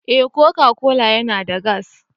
Eh Coca-Cola yana da gas.